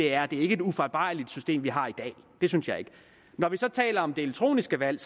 er et ufejlbarligt system vi har i dag det synes jeg ikke når vi så taler om det elektroniske valg